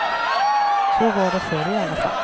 Så var det förr i alla fall.